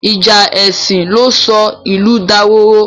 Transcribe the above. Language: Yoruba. Ìjà èsìn ló sọ ìlú dahoro.